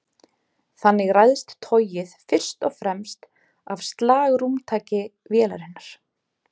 Þannig ræðst togið fyrst og fremst af slagrúmtaki vélarinnar.